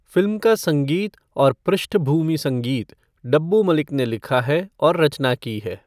Film का संगीत और पृष्ठभूमि संगीत डब्बू मलिक ने लिखा है और रचना की है।